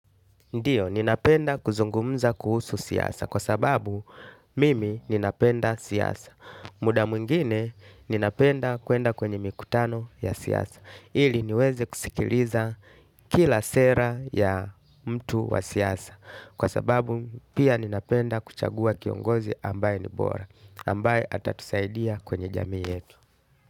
Ndiyo, ninapenda kuzungumza kuhusu siasa kwa sababu mimi ninapenda siasa. Muda mwingine ninapenda kuenda kwenye mikutano ya siasa. Ili niweze kuskiliza kila sera ya mtu wa siasa. Kwa sababu pia ninapenda kuchagua kiongozi ambaye ni bora. Ambaye atatusaidia kwenye jamii yetu.